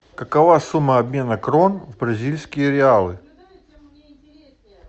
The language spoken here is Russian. какова сумма обмена крон в бразильские реалы